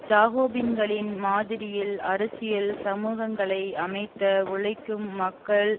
ஜாகோபின்களின் மாதிரியில் அரசியல் சமூகங்களை அமைத்த உழைக்கும் மக்கள்